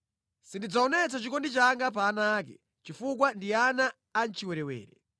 Sindidzaonetsa chikondi changa pa ana ake, chifukwa ndi ana a mʼchiwerewere.